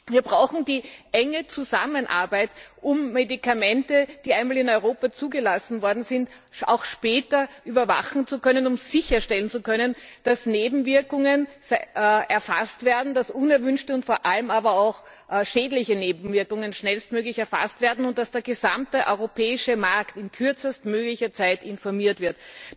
Wir brauchen die enge Zusammenarbeit, um Medikamente, die einmal in Europa zugelassen worden sind, auch später überwachen zu können, um sicherstellen zu können, dass unerwünschte und vor allem aber auch schädliche Nebenwirkungen schnellstmöglich erfasst werden und dass der gesamte europäische Markt in kürzestmöglicher Zeit informiert wird.